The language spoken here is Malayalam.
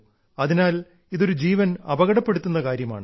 അതിനാൽ ഇത് ഒരു ജീവൻ അപകടപ്പെടുത്തുന്ന കാര്യമാണ്